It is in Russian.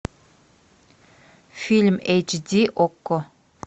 фильм эйч ди окко